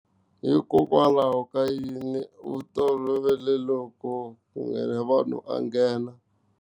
Hikokwalaho ka yini u tolovele loko ku nghena vanhu a nghena.